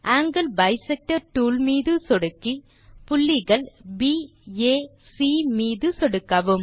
angle bisector tool மீது சொடுக்கி புள்ளிகள் baசி மீது சொடுக்கவும்